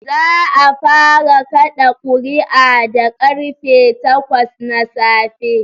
Za'a fara kaɗa kuri'a da karfe takwas na safe